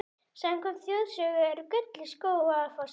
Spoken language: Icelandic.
Samkvæmt þjóðsögu er gull í Skógafossi.